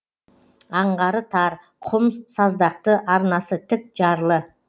аңғары тар құм саздақты арнасы тік жарлы